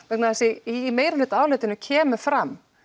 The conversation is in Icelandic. vegna þess að í meirihlutaálitinu kemur fram